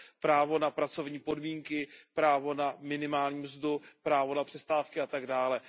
právo na pracovní podmínky, právo na minimální mzdu, právo na přestávky a tak dále.